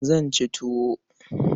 Zan ci tuwo.